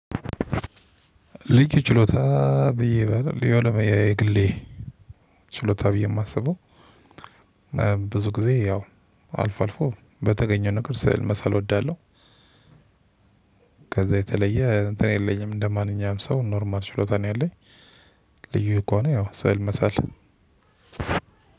ሊክ ችሎታ ብዬ ባለው የሆነ የግሌ ችሎታ ብዬ የማስበው ብዙ ጊዜ ያው አልፎ አልፎ በተገኘው ነገር ስዕል መሳል እወዳለሁ። ከዛ የተለየ እንትን የለኝም እንደማንኛውም ሰው ኖርማል ችሎታ ነው ያለኝ። ልዩ ከሆነ ነው ያው ሰው መሳል